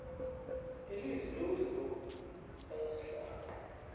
ilizwi lokuzibopha lakasihlalo